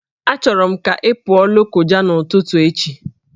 Achọrọ m ka ị pụọ Lokoja n'ụtụtụ echi!